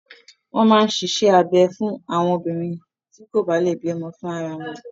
Wọ́n máa ń ṣíṣe abẹ fún àwọn obìnrin tí kò bá lè bí ọmọ fún ara wọn.